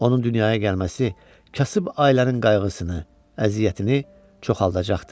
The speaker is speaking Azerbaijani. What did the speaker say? Onun dünyaya gəlməsi kasıb ailənin qayğısını, əziyyətini çoxalacaqdı.